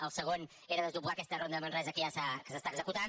el segon era desdoblar aquesta ronda de manresa que s’està executant